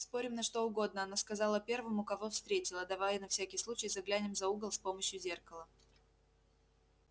спорим на что угодно она сказала первому кого встретила давай на всякий случай заглянем за угол с помощью зеркала